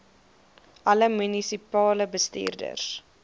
alle munisipale bestuurders